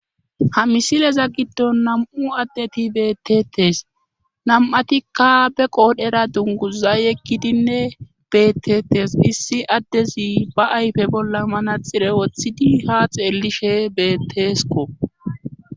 Ha misileza giddon nam'u addeti beettetes nam'atikka be qoodhera dunguza yeggidinne beettettes issi addezi ba ayfe bolla manaxire woththidi ha xeellishe beettesko.